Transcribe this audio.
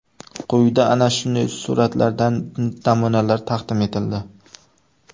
Quyida ana shunday suratlardan namunalar taqdim etildi.